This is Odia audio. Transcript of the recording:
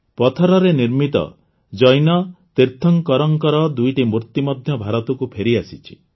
ପଥରରେ ନିର୍ମିତ ଜୈନ ତୀର୍ଥଙ୍କରଙ୍କର ଦୁଇଟି ମୂର୍ତ୍ତି ମଧ୍ୟ ଭାରତକୁ ଫେରିଆସିଛି